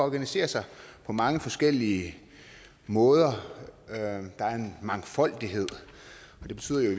organisere sig på mange forskellige måder der er en mangfoldighed og det betyder jo i